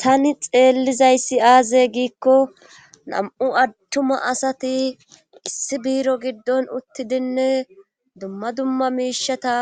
Tani xeellizayssi aaze giikko nam7u attuma asati issi biiro giddon uttidinne dumma dumma miishata